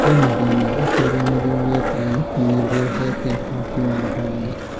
Kwĩna thĩna atĩ rĩanĩrĩra rĩa Trump norĩrete hahũ na mabara